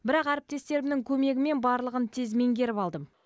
бірақ әріптестерімнің көмегімен барлығын тез меңгеріп алдым